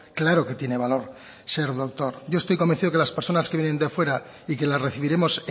claro que tiene valor ser doctor yo estoy convencido que las personas que vienen de fuera y que la recibiremos